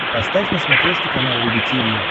поставь на смотрешке канал рубль ти ви